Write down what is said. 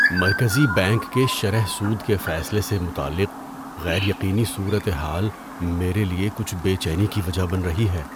مرکزی بینک کے شرح سود کے فیصلے سے متعلق غیر یقینی صورتحال میرے لیے کچھ بے چینی کی وجہ بن رہی ہے۔